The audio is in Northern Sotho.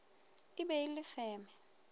e be e le feme